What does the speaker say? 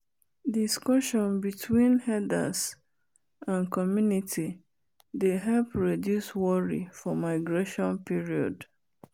discussion between herders and community dey help reduce worry for migration period.